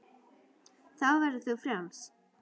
Þá verður þú frjáls.